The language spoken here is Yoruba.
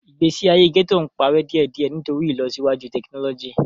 Igbesi aye gẹto n parẹ diẹdiẹ nitori ilosiwaju tekinọlọji.